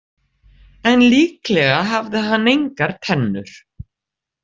En líklega hafði hann engar tennur.